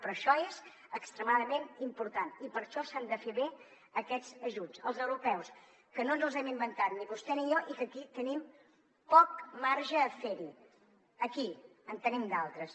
però això és extremadament important i per això s’han de fer bé aquests ajuts els europeus que no ens els hem inventat ni vostè ni jo i que aquí tenim poc marge a fer hi aquí en tenim d’altres